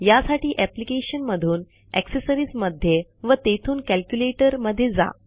यासाठी अप्लिकेशन मधून अक्सेसरिजमध्ये व तेथून कॅल्क्युलेटर मध्ये जा